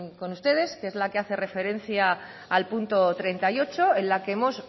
con ustedes que es la que hace referencia al punto treinta y ocho en la que hemos